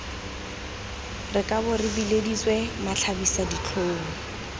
re kabo re bileditswe matlhabisaditlhong